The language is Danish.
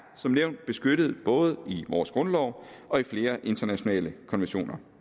som nævnt beskyttet både af vores grundlov og af flere internationale konventioner